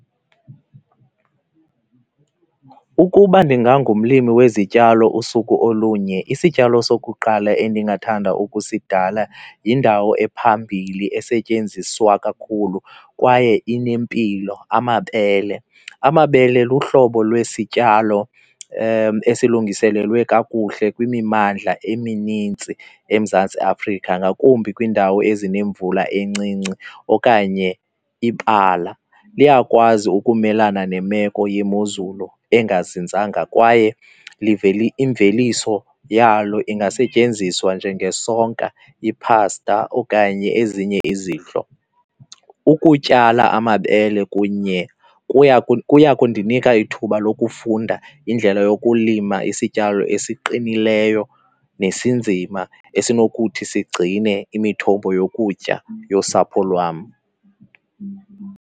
Ukuba ndingangumlimi wezityalo usuku olunye isityalo sokuqala endingathanda ukusidala yindawo ephambili esetyenziswa kakhulu kwaye inempilo, amabele. Amabele luhlobo lwesityalo esilungiselelwe kakuhle kwimimandla eminintsi eMzantsi Afrika, ngakumbi kwiindawo ezinemvula encinci okanye ibala. Liyakwazi ukumelana nemeko yemozulu engazinzanga kwaye imveliso yalo ingasetyenziswa njengesonka, iphasta okanye ezinye izidlo. Ukutyala amabele kunye kuya, kuya kundinika ithuba lokufunda indlela yokulima isityalo esiqinileyo nesinzima esinokuthi sigcine imithombo yokutya yosapho lwam.